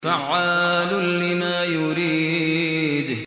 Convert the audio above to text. فَعَّالٌ لِّمَا يُرِيدُ